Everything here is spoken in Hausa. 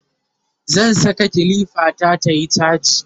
zan Saka kilifa ta tayi chaji